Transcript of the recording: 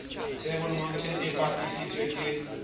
table mountain e apesitsweng ke